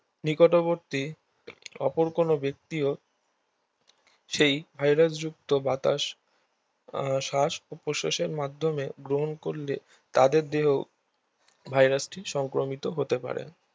নিকটবর্তী অপর কোনো ব্যক্তিও শ্বাস প্রশ্বাসের মাধ্যমে গ্রহন করলে তাদের দেহেও ভাইরাসটি সংক্রমিত হতে পারে